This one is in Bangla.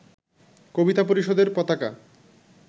কবিতা পরিষদের পতাকা